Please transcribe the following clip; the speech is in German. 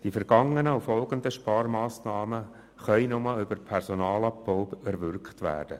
Die vergangenen und folgenden Sparmassnahmen können nur über Personalabbau erwirkt werden.